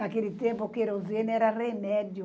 Naquele tempo, o querosene era remédio.